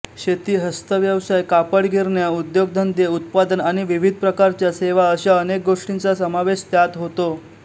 शेती हस्तव्यवसाय कापडगिरण्या उद्योगधंदे उत्पादन आणि विविध प्रकारच्या सेवा अशा अनेक गोष्टींचा समावेश त्यात होतो